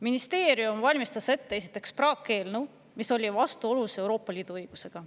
Ministeerium valmistas esiteks ette praakeelnõu, mis oli vastuolus Euroopa Liidu õigusega.